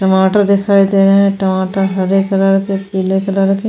टमाटर दिखाई दे रहे हैं टमाटर हरे कलर के पीले कलर के --